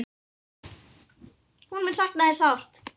Hún mun sakna þín sárt.